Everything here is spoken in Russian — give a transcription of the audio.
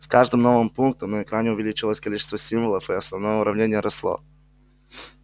с каждым новым пунктом на экране увеличивалось количество символов и основное уравнение росло